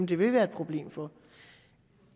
det vil være et problem for